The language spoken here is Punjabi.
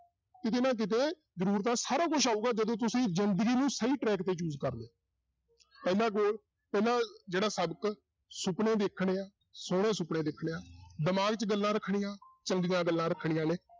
ਕਿਤੇ ਨਾ ਕਿਤੇ ਸਾਰਾ ਕੁਛ ਆਊਗਾ ਜਦੋਂ ਤੁਸੀਂ ਜ਼ਿੰਦਗੀ ਨੂੰ ਸਹੀ track ਤੇ choose ਕਰਦੇ ਹੋ ਪਹਿਲਾਂ ਪਹਿਲਾਂ ਜਿਹੜਾ ਸਬਕ ਸੁਪਨੇ ਦੇਖਣੇ ਹੈ, ਸੋਹਣੇ ਸੁਪਨੇ ਦੇਖਣੇ ਹੈ ਦਿਮਾਗ 'ਚ ਗੱਲਾਂ ਰੱਖਣੀਆਂ ਚੰਗੀਆਂ ਗੱਲਾਂ ਰੱਖਣੀਆਂ ਨੇ।